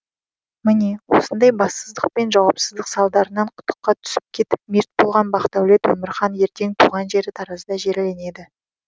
міне осындай бассыздық пен жауапсыздық салдарынан құдыққа түсіп кетіп мерт болған бақдәулет өмірхан ертең туған жері таразда жерленеді